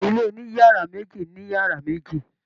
Ilé oniyara meji ni yara meji.